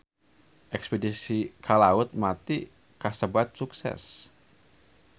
Espedisi ka Laut Mati kasebat sukses